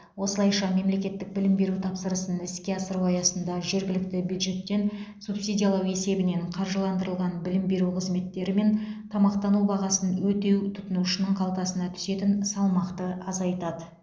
осылайша мемлекеттік білім беру тапсырысын іске асыру аясында жергілікті бюджеттен субсидиялау есебінен қаржыландырылған білім беру қызметтері мен тамақтану бағасын өтеу тұтынушының қалтасына түсетін салмақты азайтады